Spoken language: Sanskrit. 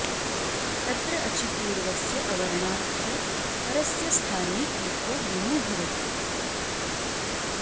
तत्र अचि पूर्वस्य अवर्णात् च परस्य स्थाने एको गुणो भवति